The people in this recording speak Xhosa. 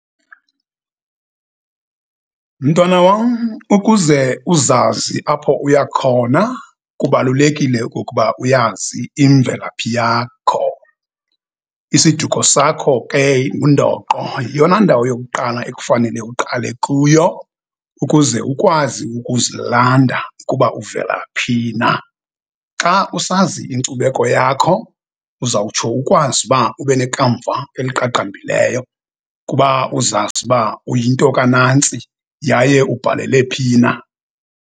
Mntwana wam, ukuze uzazi apho uya khona kubalulekile kukuba uyazi imvelaphi yakho. Isiduko sakho ke ngundoqo, yeyona ndawo yokuqala ekufanele uqale kuyo ukuze ukwazi ukuzilanda ukuba uvela phi na. Xa usazi inkcubeko yakho uzawutsho ukwazi uba ube nekamva eliqaqambileyo kuba uzazi uba uyinto ka nantsi yaye ubhalele phi na.